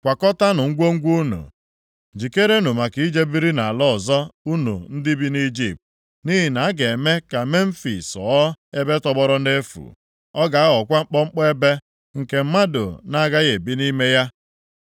Kwakọtaanụ ngwongwo unu, jikerenụ maka ije biri nʼala ọzọ, unu ndị bi nʼIjipt, nʼihi na a ga-eme ka Memfis ghọọ ebe tọgbọrọ nʼefu. Ọ ga-aghọkwa mkpọmkpọ ebe, nke mmadụ na-agaghị ebi nʼime ya.